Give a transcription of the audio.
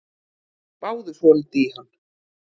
Spáðu svolítið í hann.